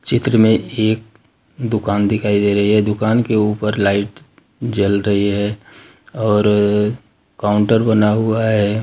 चित्र में एक दुकान दिखाई दे रही है दुकान के ऊपर लाइट जल रही है और काउंटर बना हुआ है।